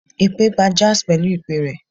Ipè gbá jazz pẹlu ipè rẹ̀